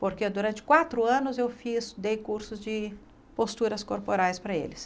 Porque durante quatro anos eu fiz, dei cursos de posturas corporais para eles.